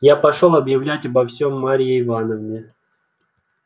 я пошёл объявлять обо всём марье ивановне